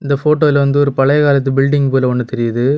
Photo யில வந்து ஒரு பழைய காலத்து பில்டிங் போல ஒன்னு தெரியுது.